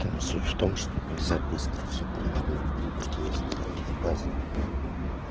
суть в том что нельзя быстро все провернуть потому что есть какие-то базовые нормы